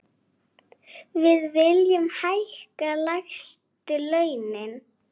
Við viljum hækka lægstu launin.